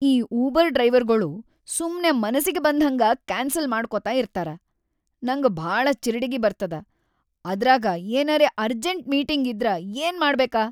ಈ ಉಬರ್‌ ಡ್ರೈವರ್‌ಗೊಳು ಸುಮ್ಮೆ ಮನಸಿಗಿ ಬಂದ್ಹಂಗ ಕ್ಯಾನ್ಸಲ್‌ ಮಾಡ್ಕೊತ ಇರ್ತಾರ, ನಂಗ ಭಾಳ ಚಿರಡಿಗಿ ಬರ್ತದ, ಅದ್ರಾಗ ಏನರೇ ಅರ್ಜೆಂಟ್‌ ಮೀಟಿಂಗ್‌ ಇದ್ರ ಏನ್‌ ಮಾಡ್ಬೇಕ.